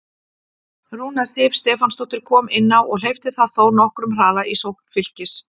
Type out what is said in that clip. Rúna Sif Stefánsdóttir kom inn á og hleypti það þó nokkrum hraða í sókn Fylkis.